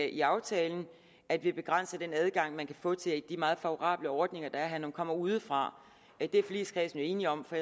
i aftalen at vi begrænsede den adgang man kan få til de meget favorable ordninger der er her når man kommer udefra det er forligskredsen jo enige om for